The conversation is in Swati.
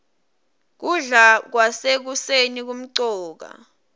kudla kwasekuseni kumcoka